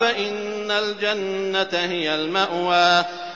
فَإِنَّ الْجَنَّةَ هِيَ الْمَأْوَىٰ